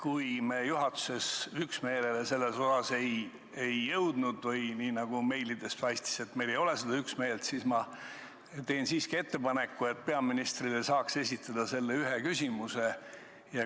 Kuna me juhatuses selles osas üksmeelele ei jõudnud või – nagu meilidest paistis – kuna meil ei ole üksmeelt, siis teen ettepaneku, et ühe küsimuse saaks peaministrile siiski esitada.